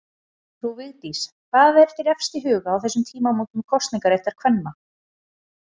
Frú Vigdís, hvað er þér efst í huga á þessum tímamótum kosningaréttar kvenna?